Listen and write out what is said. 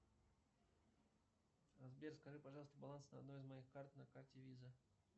сбер скажи пожалуйста баланс на одной из моих карт на карте виза